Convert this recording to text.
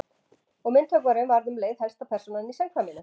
Og myndhöggvarinn varð um leið helsta persónan í samkvæminu.